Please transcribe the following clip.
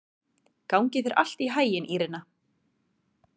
Gangi þér allt í haginn, Írena.